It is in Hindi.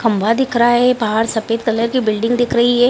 खंभा दिख रहा है बाहर सफ़ेद कलर की बिल्डिंग दिख रही है।